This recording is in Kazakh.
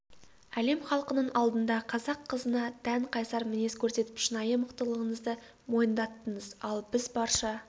әлем халқының алдында қазақ қызына тән қайсар мінез көрсетіп шынайы мықтылығыңызды мойындаттыңыз ал біз барша